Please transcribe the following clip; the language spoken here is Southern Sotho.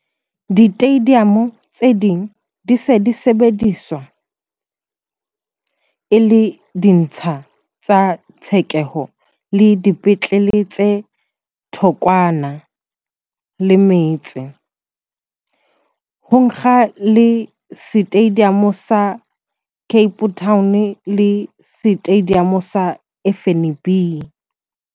Ditediamo tse ding di se ntse di sebediswa e le ditsha tsa tshekeho le dipetlele tse thokwana le metse, ho akga le Setediamo sa Cape Town le Setediamo sa FNB.